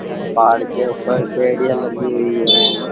पहाड़ के ऊपर पेड़िया लगी हुई है।